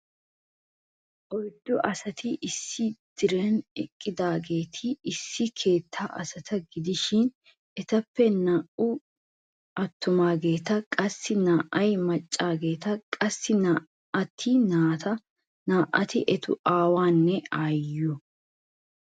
Oyddu asati issi diran eqqidaageti issi keetta asata gidishin etappe naa"ay attumaageeta qassi naa"ay maccageeta qassi naa'ati naati, naa"ati eta aawanne aayyiyo.